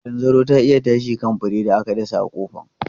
Zanzaro ta iya tashi kan furen da aka dasa a kofar.